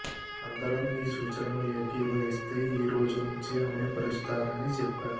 అందరం నీ సూచనను ఏకీభవిస్తే ఈరోజు నుంచే అమలు పరుస్తానని చెప్పాను